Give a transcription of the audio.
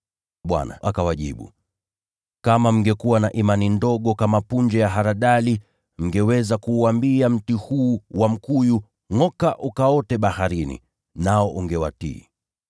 Bwana akawajibu, “Kama mkiwa na imani ndogo kama punje ya haradali, mngeweza kuuambia mti huu wa mkuyu, ‘Ngʼoka ukaote baharini,’ nao ungewatii.